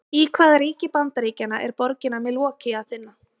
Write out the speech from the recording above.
Í hvaða ríki Bandaríkjanna er borgina Milwaukee að finna?